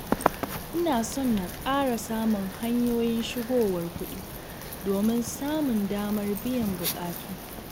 Ina so na ƙara samun hanyoyin shigowar kuɗi, domin samun damar biyan buƙatu.